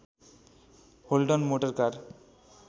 holding motor car